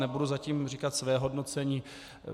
Nebudu zatím říkat své hodnocení.